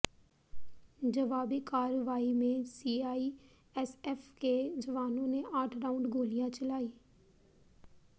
जवाबी कार्रवाई में सीआईएसएफ के जवानों ने आठ राउंड गोलियां चलाईं